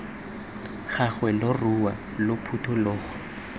gagwe lo rue lo phuthologe